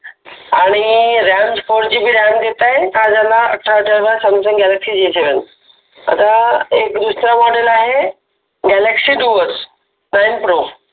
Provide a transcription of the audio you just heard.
आणी RAMFourGBRAM देत आहे हा झाला अठरा हजाराचा Samsung Galaxy J seven देत आहे आता एक दुसरा model आहे galaxy duos Nine pro